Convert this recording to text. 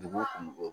Dugu kɔnɔ